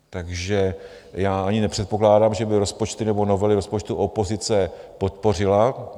Takže já ani nepředpokládám, že by rozpočty nebo novely rozpočtu opozice podpořila.